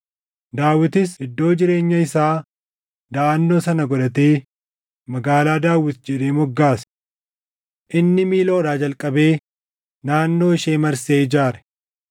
Daawitis iddoo jireenya isaa daʼannoo sana godhatee Magaalaa Daawit jedhee moggaase. Inni Miiloodhaa jalqabee naannoo ishee marsee ijaare.